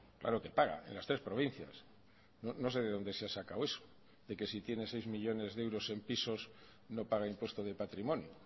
claro que paga en las tres provincias no sé de donde se ha sacado eso de que si tienes seis millónes de euros en pisos no paga impuesto de patrimonio